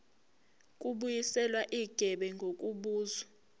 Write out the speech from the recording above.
kubuyiswa igebe ngokubuza